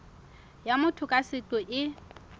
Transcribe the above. ya motho ka seqo e